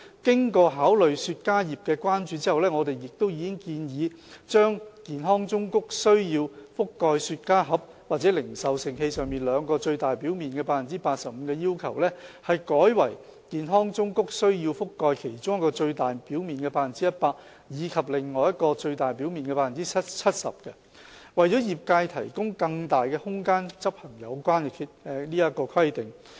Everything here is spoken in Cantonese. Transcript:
經考慮雪茄業界的關注後，我們亦已建議把健康忠告須覆蓋雪茄盒或零售盛器上兩個最大表面的 85% 的要求，改為健康忠告須覆蓋其中一個最大表面的 100% 及另一個最大表面的 70%， 為業界提供更大空間執行有關規定。